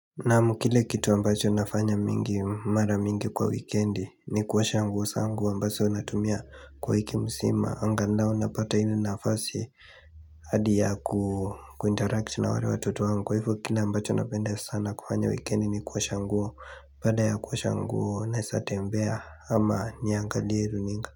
Na kile kitu ambacho nafanya mingi mara mingi kwa wikendi ni kuosha nguo zangu ambazo natumia kwa wiki mzima angalau napata ile nafasi hadi ya kuinteract na wale watoto wangu kwa ivo kile ambacho napenda sana kufanya wikendi ni kuosha nguo baada ya kuosha nguo naeza tembea ama niangalie runinga.